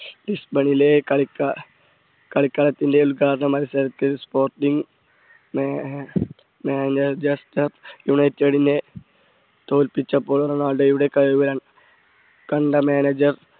ബിസ്പണിയിലെ കളിക്കാ~കളത്തിന്റെ ഉദ്ഘാടന മത്സരത്തിൽ sporting മഞ്ചെസ്റ്റർ യുണൈറ്റഡിനെ തോൽപ്പിച്ചപ്പോൾ റൊണാൾഡോയുടെ കഴിവ് കണ്ട manager